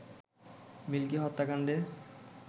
milky হত্যাকাণ্ডের